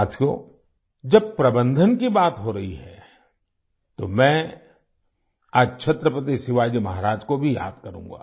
साथियो जब प्रबंधन की बात हो रही है तो मैं आज छत्रपति शिवाजी महाराज को भी याद करूंगा